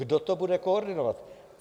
Kdo to bude koordinovat?